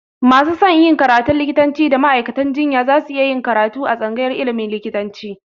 Masu son yin karatun likitanci da ma'aikatan jinya za su yi karatu a tsangayar ilimin likitanci